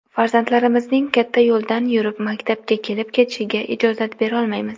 Farzandlarimizning katta yo‘ldan yurib maktabga kelib-ketishiga ijozat berolmaymiz.